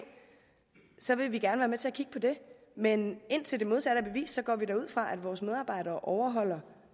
så vil vi gerne være med til at kigge på det men indtil det modsatte er bevist går vi da ud fra at vores medarbejdere overholder